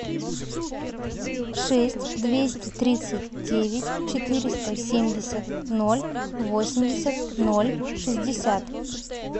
шесть двести тридцать девять четыреста семьдесят ноль восемьдесят ноль шестьдесят